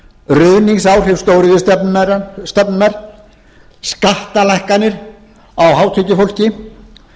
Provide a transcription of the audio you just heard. ruðningsáhrif stóriðjustefnunnar og skattalækkanir á hátekjufólki þetta allt og skattalækkanir á hátekjufólki